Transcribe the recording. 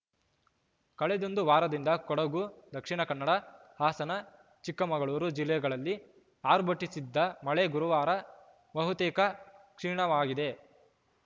ಕಳೆದೊಂದು ವಾರದಿಂದ ಕೊಡಗು ದಕ್ಷಿಣ ಕನ್ನಡ ಹಾಸನ ಚಿಕ್ಕಮಗಳೂರು ಜಿಲ್ಲೆಗಳಲ್ಲಿ ಆರ್ಭಟಿಸಿದ್ದ ಮಳೆ ಗುರುವಾರ ಬಹುತೇಕ ಕ್ಷೀಣವಾಗಿದೆ